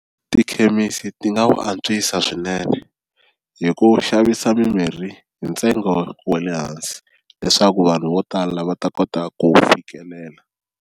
Tikhemisi ti nga wu antswisa swinene hi ku xavisa mimirhi hi ntsengo wa le hansi leswaku vanhu vo tala va ta kota ku wu fikelela.